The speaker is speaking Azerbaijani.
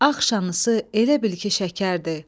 Axşaması elə bil ki şəkərdir.